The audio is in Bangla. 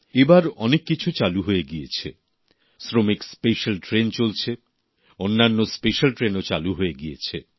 এবার অনেক কিছু চালু হয়ে গিয়েছে শ্রমিক স্পেশাল ট্রেন চলছে অন্যান্য স্পেশাল ট্রেনও চালু হয়ে গিয়েছে